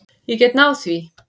Ég get náð því.